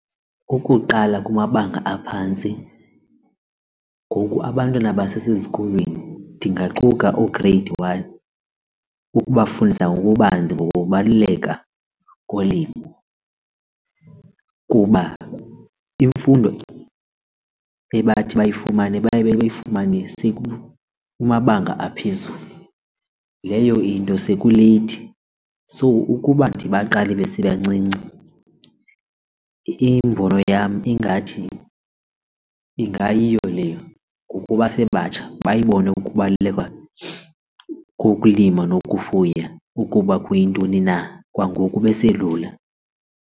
Ukuqala kumabanga aphantsi, ngoku abantwana basesezikolweni ndingaquka oo-grade one ukubafundisa ngokubanzi ngokubaluleka kolimo kuba imfundo ebathi bayifumane baye bayifumane sekumabanga aphezulu. Leyo into sekuleythi. So ukuba ndibaqale besebancinci imbono yam ingathi ingayiyo leyo ngokuba basebatsha bayibone ukubaluleka kokulima nokufuya ukuba kuyintoni na kwangoku beselula.